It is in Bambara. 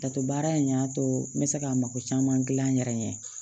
Dato baara in y'a to n bɛ se ka mako caman gilan n yɛrɛ ye